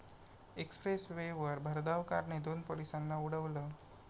Express वेवर भरधाव कारने दोन पोलिसांना उडवलं